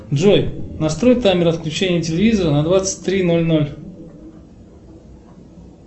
джой настрой таймер отключения телевизора на двадцать три ноль ноль